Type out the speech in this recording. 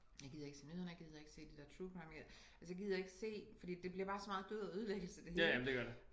Jeg gider ikke se nyhederne jeg gider ikke se det dér true crime jeg altså jeg gider ikke se fordi det bliver bare så meget død og ødelæggelse det hele